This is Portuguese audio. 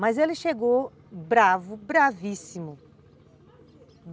Mas ele chegou bravo, bravíssimo.